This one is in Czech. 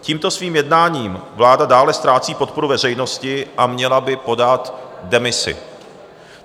Tímto svým jednáním vláda dále ztrácí podporu veřejnosti a měla by podat demisi.